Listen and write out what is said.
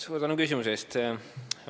Suur tänu küsimuse eest!